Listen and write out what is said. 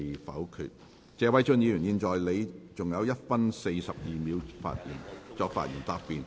謝偉俊議員，你還有1分42秒作發言答辯。